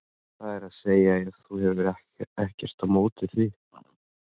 það er að segja ef þú hefur ekkert á móti því.